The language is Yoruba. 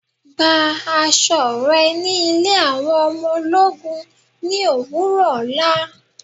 Gbà àṣọ rẹ ni ilẹ̀ àwọn ọmọ ọlọ́gún ní owurọ̀ ọlá.